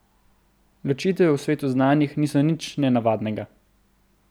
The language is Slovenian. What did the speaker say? Ločitve v svetu znanih niso nič nenavadnega.